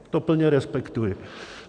To plně respektuji.